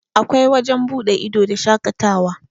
akwai wajen buɗe ido da shaƙatawa